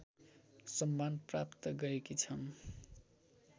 सम्मान प्राप्त गरेकी छन्